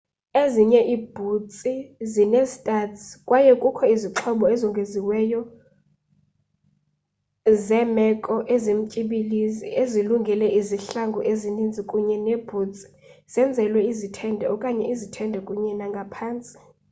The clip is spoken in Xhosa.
ezinye iibhutsi zinee-studs kwaye kukho izixhobo ezongeziweyo ezongeziweyo zeemeko ezimtyibilizi ezilungele izihlangu ezininzi kunye neebhutsi zenzelwe izithende okanye izithende kunye nangaphantsi